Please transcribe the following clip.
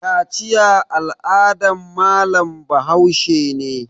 Kaciya al'adan malam Bahaushe ne